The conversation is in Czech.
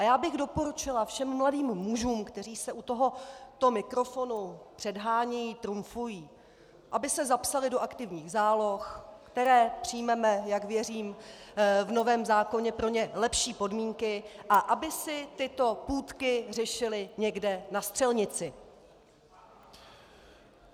A já bych doporučila všem mladým mužům, kteří se u tohoto mikrofonu předhánějí, trumfují, aby se zapsali do aktivních záloh, které přijmeme, jak věřím, v novém zákoně pro ně lepší podmínky, a aby si tyto půtky řešili někde na střelnici.